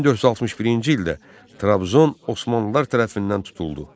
1461-ci ildə Trabzon Osmanlılar tərəfindən tutuldu.